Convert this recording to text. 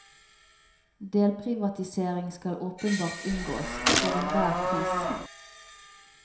Delprivatisering skal åpenbart unngås, for enhver pris.